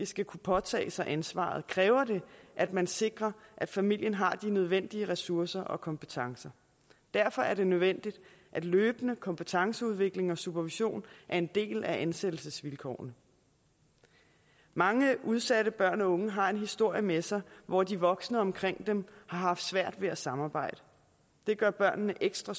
skal kunne påtage sig ansvaret kræver det at man sikrer at familien har de nødvendige ressourcer og kompetencer derfor er det nødvendigt at løbende kompetenceudvikling og supervision er en del af ansættelsesvilkårene mange udsatte børn og unge har en historie med sig hvor de voksne omkring dem har haft svært ved at samarbejde det gør børnene ekstra